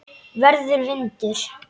Verður vindur.